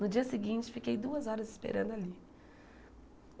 No dia seguinte, fiquei duas horas esperando ali.